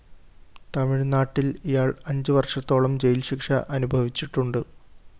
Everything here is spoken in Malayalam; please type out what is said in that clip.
തമിഴ് നാട്ടില്‍ ഇയാള്‍ അഞ്ച് വര്‍ഷത്തോളം ജയില്‍ ശിക്ഷ അനുഭവിച്ചിട്ടുണ്ട്